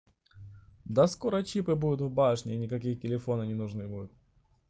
да скоро чипы буду в башне никакие телефоны не ненужны будут